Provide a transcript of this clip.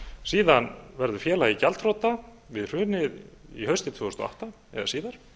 síðan verður félagið gjaldþrota við hrunið haustið tvö þúsund og átta eða síðar